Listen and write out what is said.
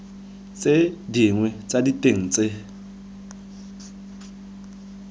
tse dinnye tsa diteng tse